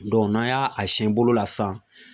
n'an y'a a siɲɛ bolo la sisan